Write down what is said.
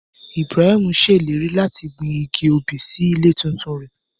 Ibrahim ṣe ileri lati gbin igi obí si ile titun rẹ.